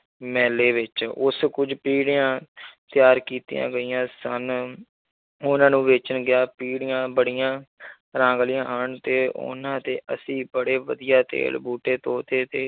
ਮੇਲੇ ਵਿੱਚ ਉਸ ਕੁੱਝ ਪੀੜ੍ਹੀਆਂ ਤਿਆਰ ਕੀਤੀਆਂ ਗਈਆਂ ਸਨ, ਉਹਨਾਂ ਨੂੰ ਵੇਚਣ ਗਿਆ, ਪੀੜ੍ਹੀਆਂ ਬੜੀਆਂ ਰਾਂਗਲੀਆਂ ਹਨ ਤੇ ਉਹਨਾਂ 'ਤੇ ਅਸੀਂ ਬੜੇ ਵਧੀਆ ਵੇਲ ਬੂਟੇ, ਤੋਤੇ ਤੇ